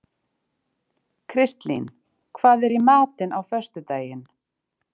Kristlín, hvað er í matinn á föstudaginn?